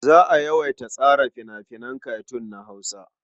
Za a yawaita tsara fina-finan katun na Hausa.